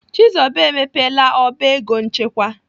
Chizoba emepela ọba ego nchekwa.